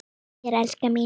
Þakka þér elskan.